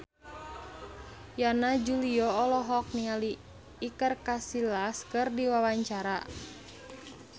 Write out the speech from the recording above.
Yana Julio olohok ningali Iker Casillas keur diwawancara